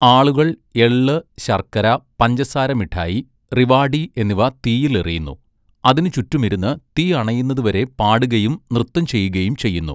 ആളുകൾ എള്ള്, ശർക്കര, പഞ്ചസാര മിഠായി, റിവാടി എന്നിവ തീയിൽ എറിയുന്നു, അതിന് ചുറ്റും ഇരുന്ന് തീ അണയുന്നത് വരെ പാടുകയും നൃത്തം ചെയ്യുകയും ചെയ്യുന്നു.